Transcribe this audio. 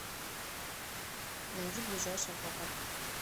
найди ближайший аквапарк